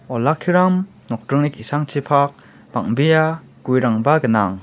olakkiram nokdringni ki·sangchipak bang·bea guerangba gnang.